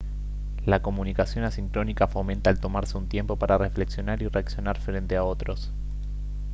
la comunicación asincrónica fomenta el tomarse un tiempo para reflexionar y reaccionar frente a otros